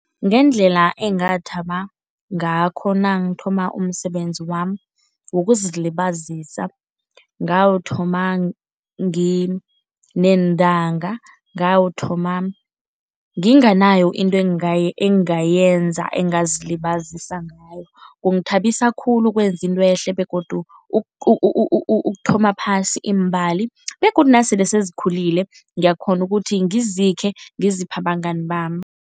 Ngendlela engathaba ngakho nangithoma umsebenzi wami wokuzilibazisa, ngawuthoma ngineentanga, ngawuthoma nginganayo into engingayenza, engingazilibazisa ngayo. Kungithabisa khulu ukwenza intwehle begodu ukuthoma phasi iimbali begodu nasele sezikhulile ngiyakghona ukuthi ngizikhe ngiziphe abangani bami.